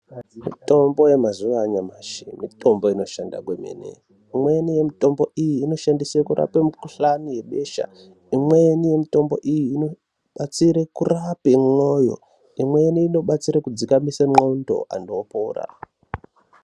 Mitombo yemazuva anyamashi mitombo inoshanda kwemene imweni yemutombo iyi inoshanda kurapa mukuhlani webesha, imweni yemitombo iyi inoshanda kurapa moyo, imweni inoshandiswa kudzikamisa qondo vantu vopora.